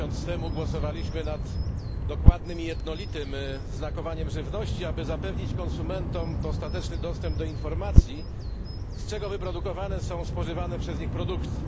Miesiąc temu głosowaliśmy nad dokładnym i jednolitym znakowaniem żywności, aby zapewnić konsumentom dostateczny dostęp do informacji, z czego wyprodukowane są spożywane przez nich produkty.